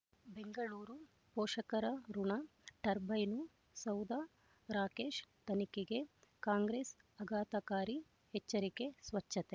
ಬೆಂಗಳೂರು ಪೋಷಕರಋಣ ಟರ್ಬೈನು ಸೌಧ ರಾಕೇಶ್ ತನಿಖೆಗೆ ಕಾಂಗ್ರೆಸ್ ಆಘಾತಕಾರಿ ಎಚ್ಚರಿಕೆ ಸ್ವಚ್ಛತೆ